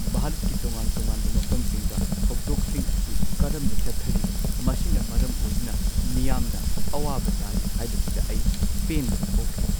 ꯚꯥꯔꯠꯀꯤ ꯇꯣꯉꯥꯟ-ꯇꯣꯉꯥꯟꯕ ꯃꯐꯝꯁꯤꯡꯗ ꯊꯧꯗꯣꯛꯁꯤꯡ ꯑꯁꯤ ꯀꯔꯝꯅ ꯆꯠꯊꯔꯤ ꯃꯁꯤꯅ ꯃꯔꯝ ꯑꯣꯏꯗꯨꯅ ꯃꯤꯌꯥꯝꯅ ꯑꯋꯥꯕ ꯇꯥꯔꯤ ꯍꯥꯏꯕꯁꯤꯗ ꯑꯩ ꯄꯦꯟꯗꯕ ꯐꯥꯎꯈꯤ ꯫